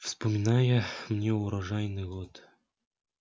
вспоминается мне урожайный год